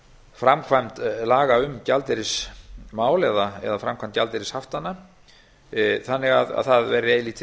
framkvæmd laga um gjaldeyrismál eða framkvæmd gjaldeyrishaftanna þannig að það verði eilítið